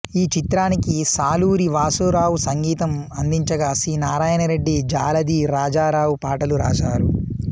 ఈ చిత్రానికి సాలూరి వాసురావు సంగీతం అందించగా సి నారాయణరెడ్డి జాలాది రాజారావు పాటలు రాశారు